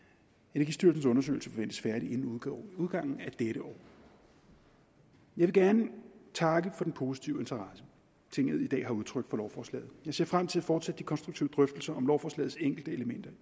energistyrelsens undersøgelse forventes færdig inden udgangen af dette år jeg vil gerne takke for den positive interesse tinget i dag har udtrykt for lovforslaget jeg ser frem til at fortsætte de konstruktive drøftelser om lovforslagets enkelte elementer